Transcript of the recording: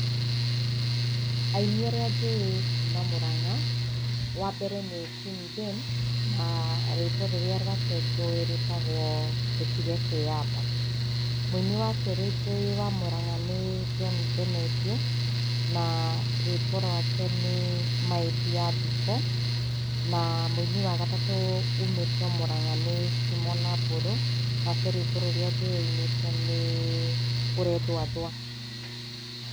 Aini arĩa njũĩ kuuma Mũrang'a, wambere nĩ Queen Jane, na rwĩmbo rũrĩa rwake njũĩ rũĩtagwo 'Ndũtige Kwĩyamba'. Mũini wakerĩ njũi kuuma Mũrang'a nĩ John Ndemethio, na rwĩmbo rwake nĩ 'My Dear Ndukũ'. Na mũinĩ wa gatatu ũmĩte o Mũrang'a nĩ Timo na Mbũrũ, nake rwĩmbo rũria ainĩte nĩ 'Ũrethũathũa'.